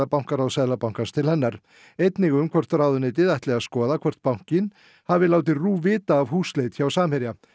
bankaráðs Seðlabankans til hennar einnig um hvort ráðuneytið ætli að skoða hvort bankinn hafi látið RÚV vita af húsleit hjá Samherja